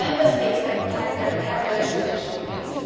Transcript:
Member States have the legislation in place.